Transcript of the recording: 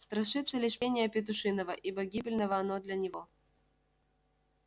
страшится лишь пения петушиного ибо гибельно оно для него